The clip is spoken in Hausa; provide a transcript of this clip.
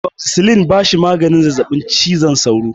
Amoxicillin ba shi da maganin zazzabin cizon sauro.